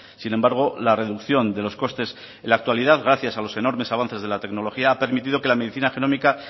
sin embargo la reducción de los costes en la actualidad gracias a los enormes avances de la tecnología ha permitido que la medicina genómica